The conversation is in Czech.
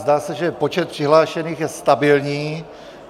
Zdá se, že počet přihlášených je stabilní.